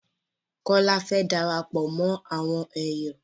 Kọ́́lá fẹ́ darapọ̀ mọ àwọn èyọ̀